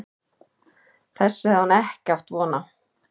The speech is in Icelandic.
Þessu hafði hann ekki átt von á.